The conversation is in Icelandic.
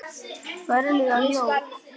Ertu það ekki, Helga mín?